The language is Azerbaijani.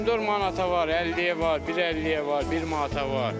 Pomidor manata var, 50-yə var, 1.50-yə var, bir manata var.